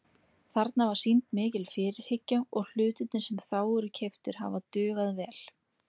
Þarna var sýnd mikil fyrirhyggja og hlutirnir sem þá voru keyptir hafa dugað vel.